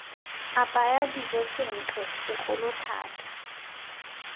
apaya dijo sentle segolo thata